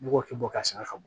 Ne b'o kɛ bɔ ka san ka bɔ